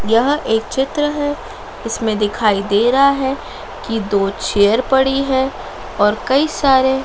यह एक चित्र है इसमें दिखाई दे रहा है कि दो चेयर पड़ी है और कई सारे--